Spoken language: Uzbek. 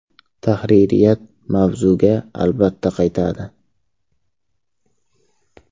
Tahririyat mavzuga albatta qaytadi.